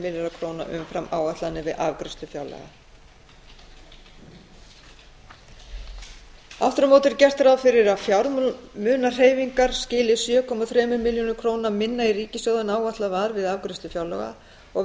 milljarðar króna umfram áætlanir við afgreiðslu fjárlaga aftur á móti er gert ráð fyrir að fjármunahreyfingar skili sjö komma þremur milljörðum króna minna í ríkissjóð en áætlað var við afgreiðslu fjár laga og